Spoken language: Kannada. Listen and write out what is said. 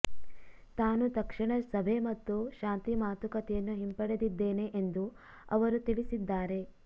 ತಾನು ತಕ್ಷಣ ಸಭೆ ಮತ್ತು ಶಾಂತಿ ಮಾತುಕತೆಯನ್ನು ಹಿಂಪಡೆದಿದ್ದೇನೆ ಎಂದು ಅವರು ತಿಳಿಸಿದ್ದಾರೆ